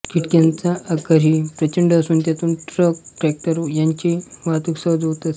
खिडक्यांचा आकारही प्रचंड असून त्यातून ट्रकट्रॅक्टर यांची वाहतूक सहज होत असते